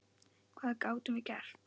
Hvað gátum við gert?